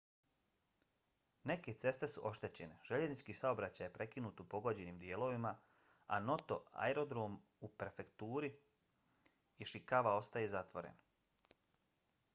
neke ceste su oštećene željeznički saobraćaj je prekinut u pogođenim dijelovima a noto aerodrom u prefekturi ishikawa ostaje zatvoren